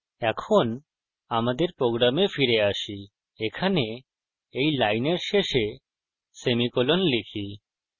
এখন আমাদের প্রোগ্রামে ফিরে আসি এখানে এই লাইনের শেষে সেমিকোলন লিখি